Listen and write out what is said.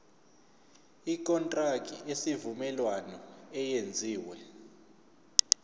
ikontraki yesivumelwano eyenziwe